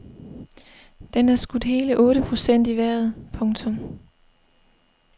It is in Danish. Den er skudt hele otte procent i vejret. punktum